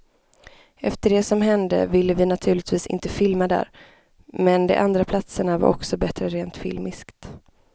Efter det som hände ville vi naturligtvis inte filma där, men de andra platserna var också bättre rent filmiskt.